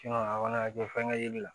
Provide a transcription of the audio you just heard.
a kɔni ka kɛ fɛngɛ yeli la